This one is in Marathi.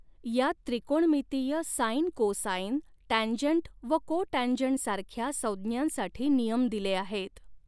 यात त्रिकोणमितीय साईन कोसाईन टँजंट व कोटँजंट सारख्या संज्ञांसाठी नियम दिले आहेत.